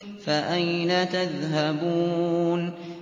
فَأَيْنَ تَذْهَبُونَ